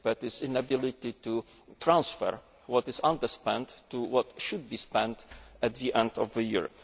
that is the inability to transfer what is underspent to what should be spent at the end of the year.